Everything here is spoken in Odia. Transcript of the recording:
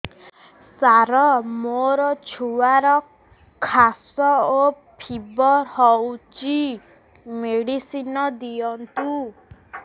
ସାର ମୋର ଛୁଆର ଖାସ ଓ ଫିବର ହଉଚି ମେଡିସିନ ଦିଅନ୍ତୁ